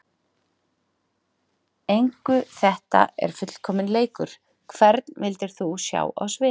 engu þetta er fullkominn leikur Hvern vildir þú sjá á sviði?